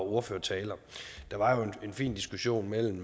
og ordførertaler der var jo en fin diskussion mellem